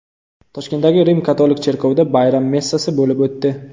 Toshkentdagi Rim-katolik cherkovida bayram messasi bo‘lib o‘tdi.